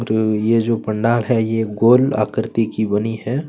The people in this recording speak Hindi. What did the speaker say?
और ये जो पंडाल है ये गोल आकृती की बनी हैं।